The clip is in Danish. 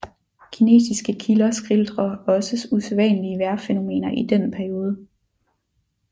Kinesiske kilder skildrer også usædvanlige vejrfænomener i den periode